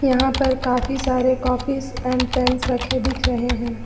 यहां पर काफी सारे कॉपीज एंड पेंस रखे दिख रहे हैं।